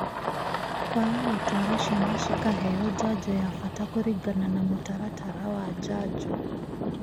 Kũaga gũtũara ciana cikaheo njanjo ya bata kũringana na mũtaratara wa njanjo